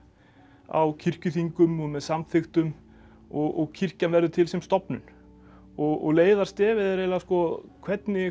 á kirkjuþingum og með samþykktum og kirkjan verður til sem stofnun og leiðarstefið er eiginlega hvernig